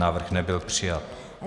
Návrh nebyl přijat.